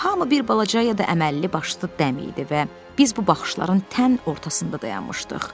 Hamı bir balaca, ya da əməlli başlı dəmdir və biz bu baxışların tən ortasında dayanmışdıq.